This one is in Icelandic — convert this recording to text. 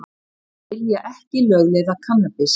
Vilja ekki lögleiða kannabis